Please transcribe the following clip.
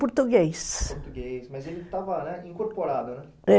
Português, português. Mas ele estava, né, incorporado, né?